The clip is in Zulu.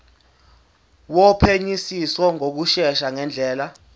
wophenyisiso ngokushesha ngendlela